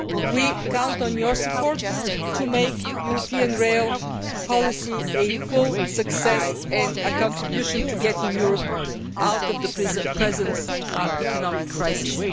We count on your support to make European rail policy a full success and a contribution to getting Europe out of the present economic crisis.